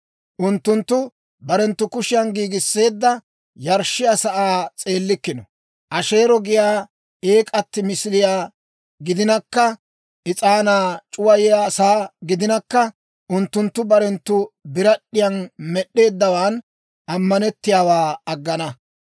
Unttunttu barenttu kushiyan giigisseedda yarshshiyaa sa'aa s'eellikkino; Asheero giyaa eek'atti misiliyaa gidinakka, is'aanaa c'uwayiyaa sa'aa gidinakka, unttunttu barenttu birad'd'iyan med'd'eeddawan ammanettiyaawaa aggana.